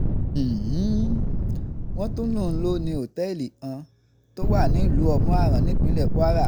um wọ́n tún lóun lò ní òtẹ́ẹ̀lì kan tó wà nílùú omu-aran nípínlẹ̀ kwara